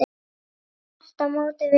Þvert á móti vel þekkt.